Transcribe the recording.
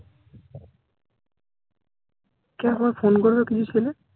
কে আবার phone করবে কিছু ছেলে